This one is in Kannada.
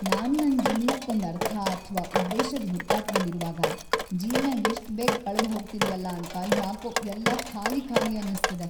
ನಾನ್ ನನ್ ಜೀವ್ನಕ್ಕೊಂದ್ ಅರ್ಥ‌ ಅಥ್ವಾ ಉದ್ದೇಶದ್‌ ಹುಡುಕಾಟ್ದಲ್ಲಿರುವಾಗ ಜೀವ್ನ ಎಷ್ಟ್‌ ಬೇಗ್‌ ಕಳ್ದ್ ಹೋಗ್ತಿದ್ಯಲ್ಲ ಅಂತ ಯಾಕೋ ಎಲ್ಲ ಖಾಲಿ ಖಾಲಿ ಅನ್ನಿಸ್ತಿದೆ.